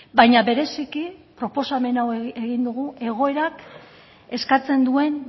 baina bereziki proposamen hau egin dugu egoerak eskatzen duen